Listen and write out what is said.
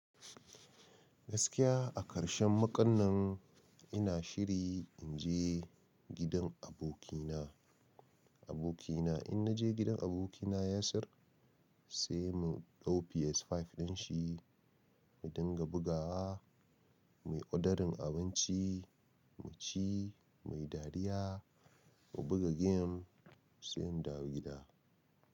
Gaskiya a karshen makon nan ina shiri in je gidan abokina. Abokina in naje gidan abokina Yasir sai mu ɗau PS5 din shi mu dinga bugawa, muyi ordering abinci, mu ci, muyi dariya, mu buga game, sai in dawo gida.